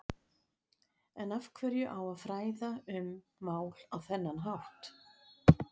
En af hverju á að fræða um mál á þennan hátt?